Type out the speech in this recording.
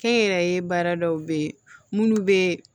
Kɛ n yɛrɛ ye baara dɔw bɛ ye minnu bɛ